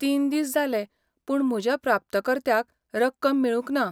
तीन दीस जाले, पूण म्हज्या प्राप्तकर्त्याक रक्कम मेळूंक ना.